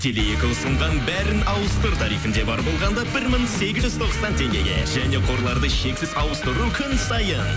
теле екі ұсынған бәрін ауыстыр тарифінде бар болағанда бір мың сегіз жүз тоқсан теңгеге және қорларды шексіз ауыстыру күн сайын